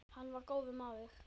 Hann var góður maður.